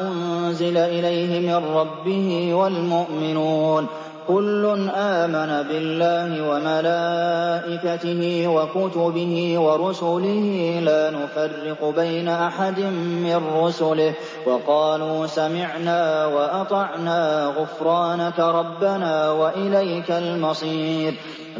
أُنزِلَ إِلَيْهِ مِن رَّبِّهِ وَالْمُؤْمِنُونَ ۚ كُلٌّ آمَنَ بِاللَّهِ وَمَلَائِكَتِهِ وَكُتُبِهِ وَرُسُلِهِ لَا نُفَرِّقُ بَيْنَ أَحَدٍ مِّن رُّسُلِهِ ۚ وَقَالُوا سَمِعْنَا وَأَطَعْنَا ۖ غُفْرَانَكَ رَبَّنَا وَإِلَيْكَ الْمَصِيرُ